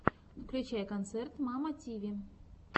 включай концерт мамми тиви